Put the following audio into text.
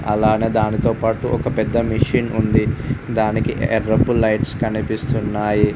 అలానే దానితోపాటు ఒక పెద్ద మెషిన్ ఉంది. దానికి ఎర్రపు లైట్స్ కనిపిస్తున్నాయి.